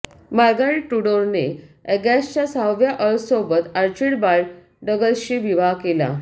Margaret Tudor ने अॅगसच्या सहाव्या अर्लसोबत आर्चिबाल्ड डग्लसशी विवाह केला